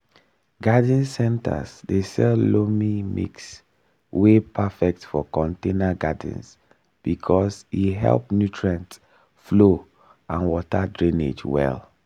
garden centers dey sell loamy mix wey perfect for container gardens because e help nutrient flow and water drainage well.